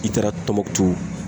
I taara tɔnbɔkutu